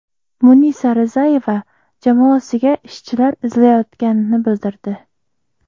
Munisa Rizayeva jamoasiga ishchilar izlayotganini bildirdi.